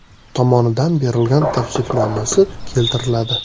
tomonidan berilgan tavsifnomasi keltiriladi.